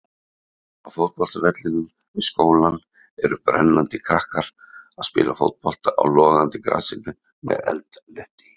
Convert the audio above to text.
Á fótboltavellinum við skólann eru brennandi krakkar að spila fótbolta á logandi grasinu með eldhnetti.